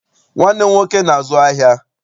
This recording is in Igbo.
Nwanne m nwoke na-azu ahịa.